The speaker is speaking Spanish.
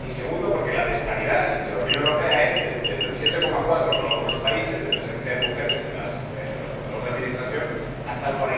Y, segunda, porque la disparidad en la Unión Europea es desde el 7,4 en algunos países de presencia de mujeres en los consejos de administración hasta el